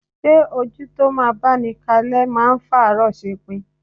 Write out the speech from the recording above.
Ṣé ojú tó máa báni kalẹ́ máa ń fàárọ ṣepin?